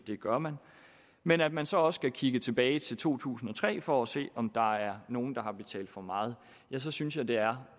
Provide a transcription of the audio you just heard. vil gøre men at man så også skal kigge tilbage til to tusind og tre for at se om der er nogen der har betalt for meget så synes jeg det er